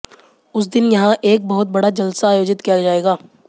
उस दिन यहां एक बहुत बड़ा जलसा आयोजित किया जाएगा